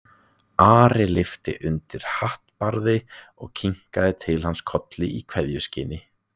Ari lyfti undir hattbarðið og kinkaði til hans kolli í kveðjuskyni.